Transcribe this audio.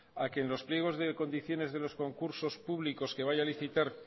a que en los pliegos de condiciones de los concursos públicos que vaya a licitar